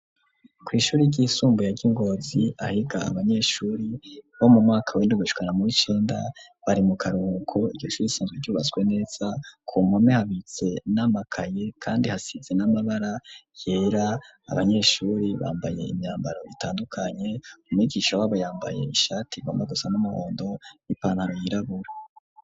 Kwishuri ry'isumbuye ryi Ngozi ahiga abanyeshuri bo mu mwaka wendugishwana muricenda bari mu karuruko igoshuri isanzwe cubatswe neza ku mame habitse n'amakaye kandi hasize n'amabara yera abanyeshuri bambaye imyambaro itandukanye umwigisha w'abayambaye ishati igomba gusa n'amahondo n'ipanano y'irabura.